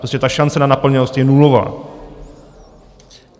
Prostě ta šance na naplněnost je nulová!